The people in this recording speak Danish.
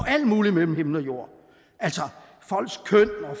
alt muligt mellem himmel og jord altså